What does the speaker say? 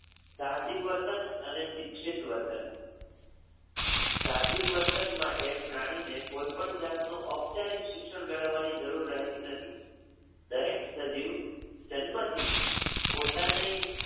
સાહજિક વર્તન અને શિક્ષિત વર્તન. સાહજિક વર્તન માટે પ્રાણી ને કોઈપણ જાતનું ઔપચારિક શિક્ષણ મેળવવાની જરૂર રહેતી નથી. દરેક સજીવ જન્મથી જ પોતાની